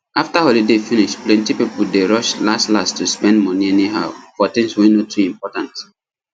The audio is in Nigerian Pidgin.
after holiday finish plenty people dey rush lastlast to spend money anyhow for things wey no too important